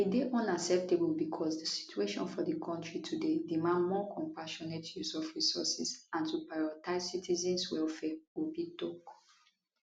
e dey unacceptable bicos di situation for di kontri today demand more compassionate use of resources and to prioritise citizens welfare obi tok